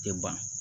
Tɛ ban